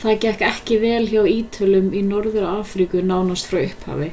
það gekk ekki vel hjá ítölum í norður-afríku nánast frá upphafi